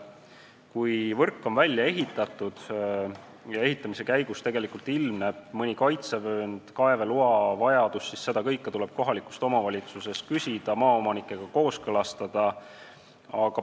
Kui võrgu väljaehitamise järel või selle ehitamise käigus ilmneb mõni kaitsevöönd või kaeveloa vajadus, siis tuleb pöörduda kohaliku omavalitsuse poole ja maaomanikult kooskõlastust küsida.